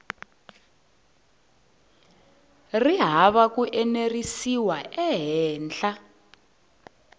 ri hava ku enerisiwa ehenhla